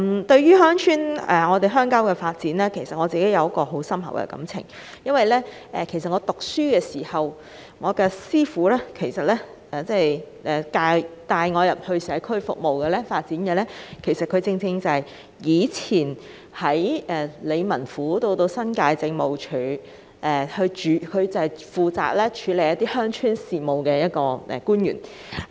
對於鄉郊發展這議題，我有很深厚的感情，因為在我學生時代帶領我進入社區進行服務的人，正是在以前的理民府以至新界政務署負責處理鄉村事務的官員。